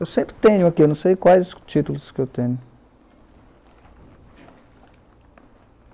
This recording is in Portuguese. Eu sempre tenho aqui, não sei quais os títulos que eu tenho.